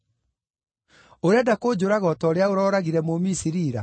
Ũrenda kũnjũraga o ta ũrĩa ũrooragire Mũmisiri ira?’